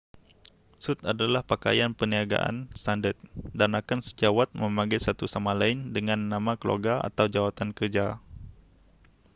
sut adalah pakaian perniagaan standard dan rakan sejawat memanggil satu sama lain dengan nama keluarga atau jawatan kerja